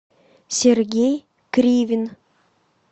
сергей кривин